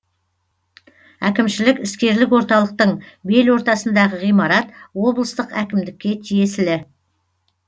әкімшілік іскерлік орталықтың белортасындағы ғимарат облыстық әкімдікке тиесілі